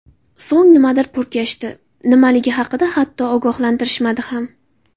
So‘ng nimadir purkashdi, nimaligi haqida hatto ogohlantirishmadi ham.